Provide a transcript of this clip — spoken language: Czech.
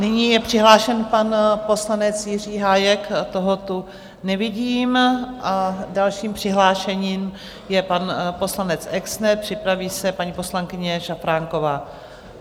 Nyní je přihlášen pan poslanec Jiří Hájek, toho tu nevidím, a dalším přihlášeným je pan poslanec Exner, připraví se paní poslankyně Šafránková.